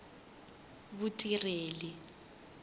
vutirheli